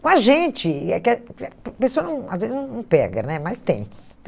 Com a gente, a pessoa não às vezes não não pega né, mas tem.